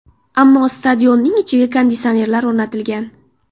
Ammo stadionning ichiga konditsionerlar o‘rnatilgan.